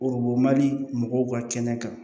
mali mɔgɔw ka kɛnɛ kan